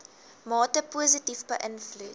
mate positief beïnvloed